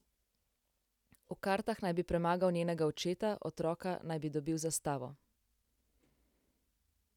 V kartah naj bi premagal njenega očeta, otroka naj bi dobil za stavo!